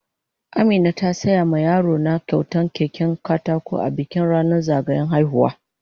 Amina ta siya ma yaro na kyautan keken katako a bikin ranan zagayan haihuwa.